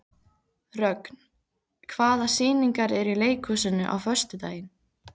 Rögn, hvaða sýningar eru í leikhúsinu á föstudaginn?